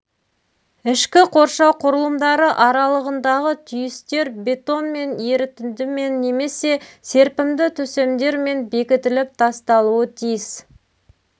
ішкі қоршау құрылымдары аралығындағы түйістер бетонмен ерітіндімен немесе серпімді төсемдермен бекітіліп тасталуы тиіс